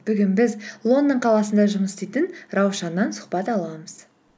бүгін біз лондон қаласында жұмыс істейтін раушаннан сұхбат аламыз